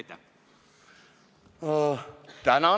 Tänan!